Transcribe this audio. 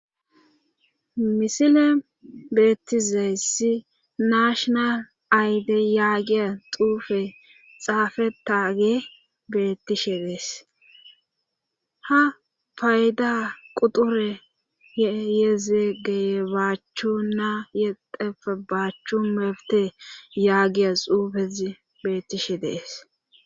misile beettizayssi nashonal aydey yaagiya xuufe xaafetage bettishe dees ha payda quture yezegey baachchu na yexefe baachchu mebte yaagiya xuufezi bettishe dees